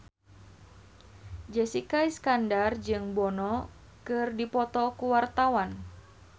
Jessica Iskandar jeung Bono keur dipoto ku wartawan